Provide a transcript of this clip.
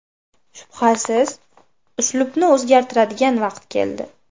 Shubhasiz, uslubni o‘zgartiradigan vaqt keldi.